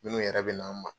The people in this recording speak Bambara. Minnu yɛrɛ bɛ na an ma